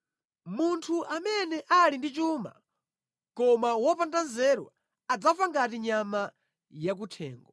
Munthu amene ali ndi chuma koma wopanda nzeru adzafa ngati nyama yakuthengo.